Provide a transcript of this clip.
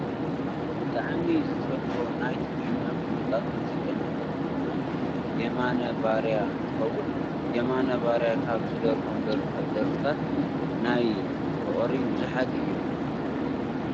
ብጣዕሚ ዝፈትዎ ! ናይ ትግርኛ ፉሉጣት ሙዚቀኛታት ዝኮነ የማነ ባርያ እንትከውን የማነ ባርያ ካብ ዝደረፎም ደርፍታት ናይ ፍቅሪ ብዙሓት እዮም።